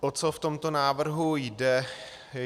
O co v tomto návrhu jde?